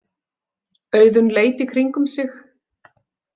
Auðunn leit í kringum sig.